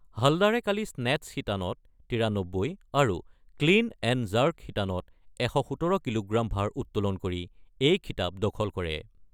হালদাৰে কালি স্নেট্ছ শিতানত ৯৩ আৰু ক্লিন এণ্ড জাৰ্ক শিতানত ১১৭ কিলোগ্ৰাম ভাৰ উত্তোলন কৰি এই খিতাপ দখল কৰে।